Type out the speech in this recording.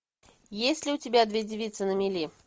есть ли у тебя две девицы на мели